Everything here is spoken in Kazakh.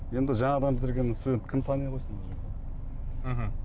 енді жаңадан бітірген студентті кім тани қойсын мхм